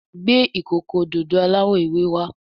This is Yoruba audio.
Gbé ìkókó òdodo aláwò ewé wá.